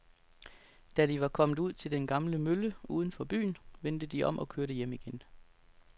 Da de var kommet ud til den gamle mølle uden for byen, vendte de om og kørte hjem igen.